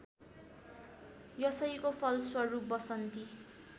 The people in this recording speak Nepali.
यसैको फलस्वरूप वसन्ती